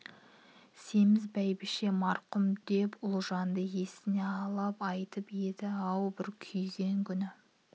семіз бәйбіше марқұм деп үлжанды есіне алып айтып еді-ау бір күйген күні